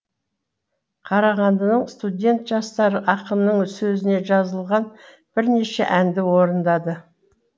қарағандының студент жастары ақынның сөзіне жазылған бірнеше әнді орындады